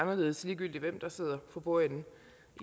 uanset hvem der sidder for bordenden